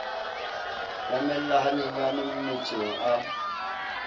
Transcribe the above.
nyamella ha nyenyane mmetsong a